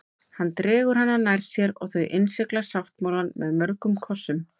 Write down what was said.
Hann dregur hana nær sér og þau innsigla sáttmálann með mörgum kossum.